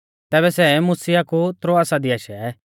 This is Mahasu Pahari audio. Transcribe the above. तैबै सै मुसिया कु त्रोआसा दी आशै